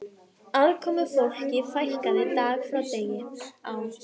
Aðkomufólki fækkaði dag frá degi á